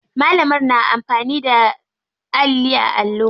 Malamar na amfani da alli a allo.